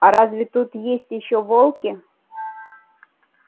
а разве тут есть ещё волки